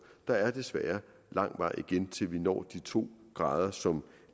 der er desværre lang vej igen til vi når de to grader som